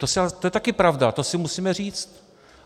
To je taky pravda, to si musíme říct.